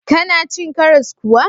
Kana cin karas kuwa?